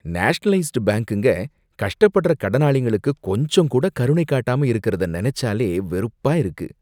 Nationalised பேங்குங்க கஷ்டப்படுற கடனாளிங்களுக்கு கொஞ்சம் கூட கருணை காட்டாம இருக்குறத நெனைச்சாலே வெறுப்பா இருக்கு.